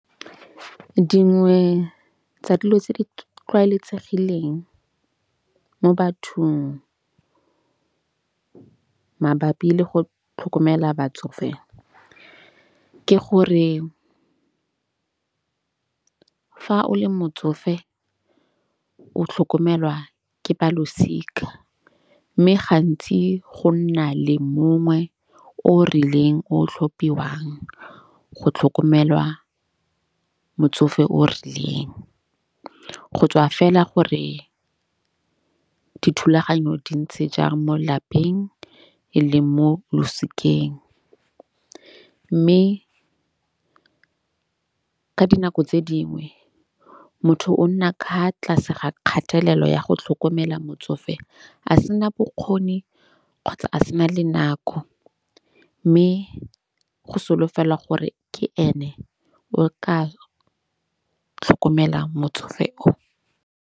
Dingwe tsa dilo tse di tlwaeletsegileng mo bathong mabapi le go tlhokomela batsofe ke gore, fa o le motsofe o tlhokomelwa ke balosika. Mme gantsi go nna le mongwe o rileng o tlhophiwang go tlhokomelwa motsofe o rileng. Go tswa fela gore dithulaganyo di ntse jang mo lapeng eleng mo losikeng. Mme ka dinako tse dingwe motho o nna ka fa tlase ga kgatelelo ya go tlhokomela motsofe, a sena bokgoni kgotsa a sena le nako. Mme go solofela gore ke ene o ka tlhokomelang motsofe o.